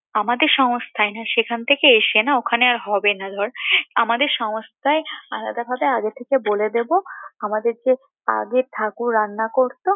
আমাদের সংস্থা না সেখান থেকে এসে না ওখানে আর হবে না ধর, আমাদের সংস্থা তাহলে আগে থেকে বলে দেবো আমাদের যে আগের ঠাকুর রান্না করতো